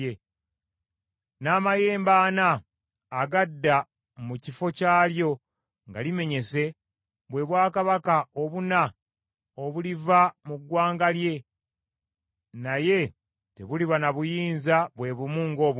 N’amayembe ana agadda mu kifo kyalyo nga limenyese, bwe bwakabaka obuna obuliva mu ggwanga lye, naye tebuliba na buyinza bwe bumu ng’obubwe.